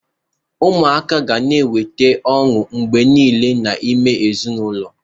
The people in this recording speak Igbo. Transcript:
Ụmụaka ga na-eweta ọṅụ mgbe niile n'ime ezinụlọ.